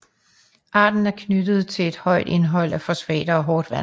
Arten er knyttet til et højt indhold af fosfater og hårdt vand